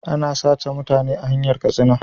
Ana sace mutane a hanyar katsina